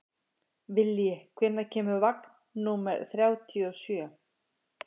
Vilji, hvenær kemur vagn númer þrjátíu og sjö?